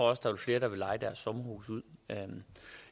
også der er flere der vil leje deres sommerhus ud